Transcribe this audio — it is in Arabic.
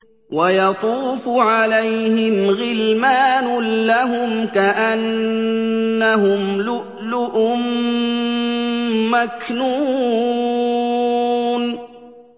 ۞ وَيَطُوفُ عَلَيْهِمْ غِلْمَانٌ لَّهُمْ كَأَنَّهُمْ لُؤْلُؤٌ مَّكْنُونٌ